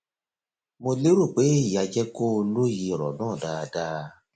mo lérò pé èyí á jẹ kó o lóye ọrọ náà dáadáa